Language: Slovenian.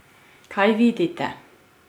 Kaj vidite?